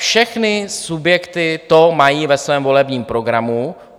Všechny subjekty to mají ve svém volebním programu.